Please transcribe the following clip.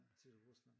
Til Rusland